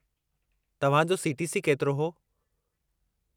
तव्हां जो सी.टी.सी. केतिरो हो?